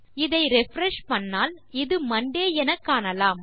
இதை ரிஃப்ரெஷ் செய்தால் இது மாண்டே எனக்காணலாம்